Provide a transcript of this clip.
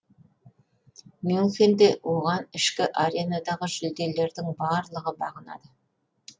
мюнхенде оған ішкі аренадағы жүлделердің барлығы бағынады